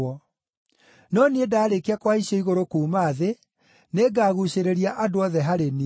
No niĩ ndaarĩkia kũhaicio igũrũ kuuma thĩ, nĩngaguucĩrĩria andũ othe harĩ niĩ.”